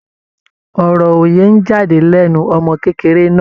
Ọ̀rọ̀ òye ń jáde lẹ́nu ọmọ kékeré náà.